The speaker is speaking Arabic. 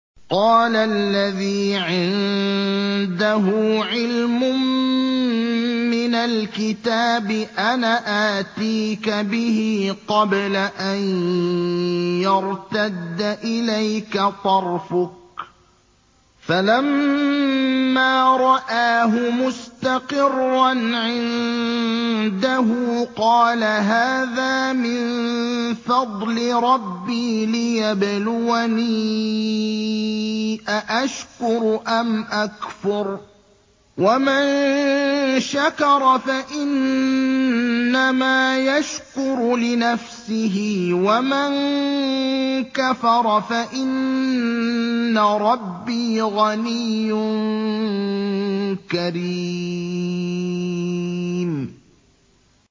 قَالَ الَّذِي عِندَهُ عِلْمٌ مِّنَ الْكِتَابِ أَنَا آتِيكَ بِهِ قَبْلَ أَن يَرْتَدَّ إِلَيْكَ طَرْفُكَ ۚ فَلَمَّا رَآهُ مُسْتَقِرًّا عِندَهُ قَالَ هَٰذَا مِن فَضْلِ رَبِّي لِيَبْلُوَنِي أَأَشْكُرُ أَمْ أَكْفُرُ ۖ وَمَن شَكَرَ فَإِنَّمَا يَشْكُرُ لِنَفْسِهِ ۖ وَمَن كَفَرَ فَإِنَّ رَبِّي غَنِيٌّ كَرِيمٌ